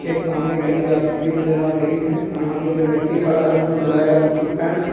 एक सामने गली जाती हुई नजर आ रही है यहां पे जो व्यक्ति खड़ा है उसनें ब्लैक रंग की पैंट --